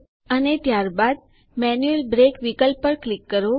અને ત્યારબાદ manual break વિકલ્પ પર ક્લિક કરો